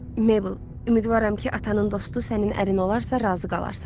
"Meybəl, ümidvaram ki, atanın dostu sənin ərin olarsa, razı qalarsan."